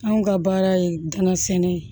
Anw ka baara ye danasɛnɛ ye